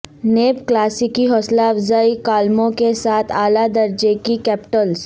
NAB کلاسیکی حوصلہ افزائی کالموں کے ساتھ اعلی درجے کی کیپٹلز